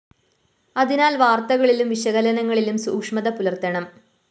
അതിനാല്‍ വാര്‍ത്തകളിലും വിശകലനങ്ങളിലും സൂക്ഷ്മത പുലര്‍ത്തപ്പെടണം